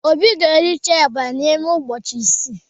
Obi ga-ericha eba n'ime ụbọchị ise